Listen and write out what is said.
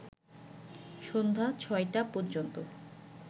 সন্ধ্যা ৬টা পর্যন্ত